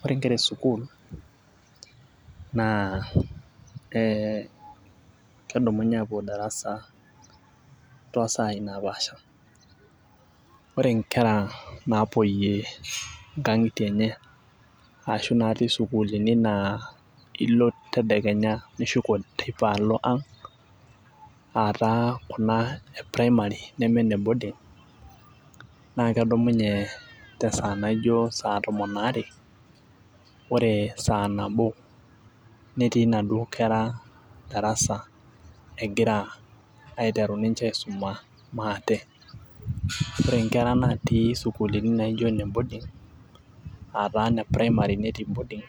Oore inkera e sukuul naa kedumunye aapuo darasa tosaai napaasha. Oore inkera napuoyie inkang'itie eenye arashu inkera napuku tonkang'itie eenye oore teipa neshuko aapuo ang, aah taa kuna e primary neme iine boarding na kedumunye tesaa naijo saa tomon aare, oore saa nabo netii inaduo kera darasa egira ninche aiteru aisoma maata. Oore inkera natii isukuulini naijo iine boarding, aah taa iine primary[cs[ netii boarding,